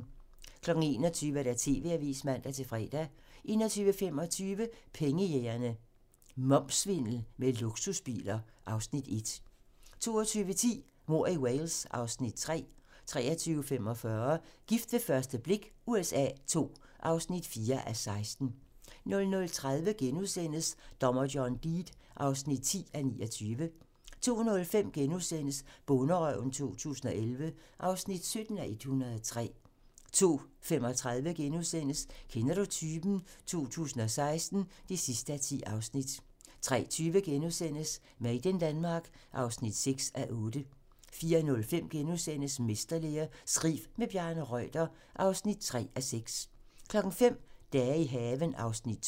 21:00: TV-avisen (man-fre) 21:25: Pengejægerne - Momssvindel med luksusbiler (Afs. 1) 22:10: Mord i Wales (Afs. 3) 23:45: Gift ved første blik USA II (4:16) 00:30: Dommer John Deed (10:29)* 02:05: Bonderøven 2011 (17:103)* 02:35: Kender du typen? 2016 (10:10)* 03:20: Made in Denmark (6:8)* 04:05: Mesterlære - skriv med Bjarne Reuter (3:6)* 05:00: Dage i haven (Afs. 2)